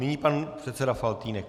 Nyní pan předseda Faltýnek.